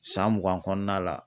San mugan kɔnɔna la.